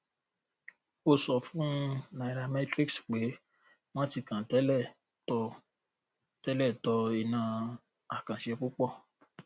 ó sọ fún nairametrics pé wọn ti kàn tẹlẹ tọ tẹlẹ tọ iná àkànṣe púpọ